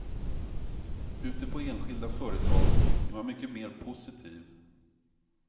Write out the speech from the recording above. Ute på enskilda företag är man mycket mer positiv.